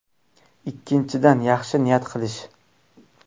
Ikkinchidan, yaxshi niyat qilish.